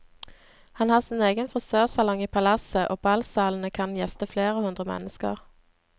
Han har sin egen frisørsalong i palasset og ballsalene kan gjeste flere hundre mennesker.